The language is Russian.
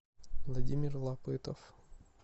владимир лапытов